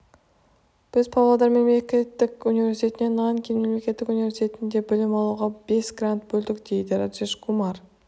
біз павлодар мемлекеттік университетіне нанкин мемлекеттік университетінде білім алуға бес грант бөлдік дейді раджеш кумар